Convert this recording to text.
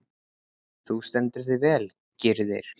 Þú stendur þig vel, Gyrðir!